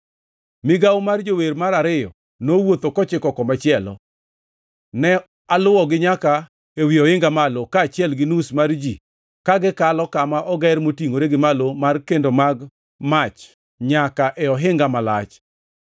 Migawo mar jower mar ariyo nowuotho kochiko komachielo. Ne aluwogi nyaka ewi ohinga malo, kaachiel gi nus mar ji ka gikalo kama Oger Motingʼore gi Malo mar Kendo mag Mach nyaka e Ohinga Malach,